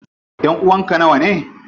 Ƴanʼuwan ka nawane?